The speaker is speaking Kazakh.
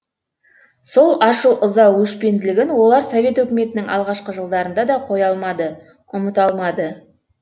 сол ашу ыза өшпенділігін олар совет өкіметінің алғашқы жылдарында да қоя алмады ұмыта алмады